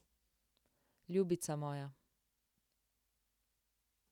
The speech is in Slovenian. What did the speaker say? Ljubica moja.